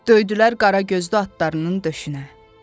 Döydülər qara gözlü atlarının döşünə.